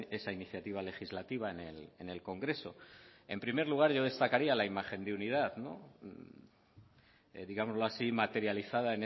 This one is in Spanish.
esa iniciativa legislativa en el congreso en primer lugar yo destacaría la imagen de unidad digámoslo así materializada